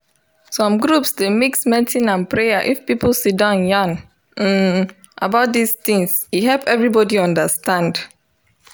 some groups dey mix medicine and prayer if people siddon yarn um about this things e help everybody understand.